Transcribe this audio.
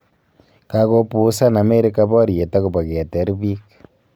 Kakopuusan Amerika baryet akobo keteer biik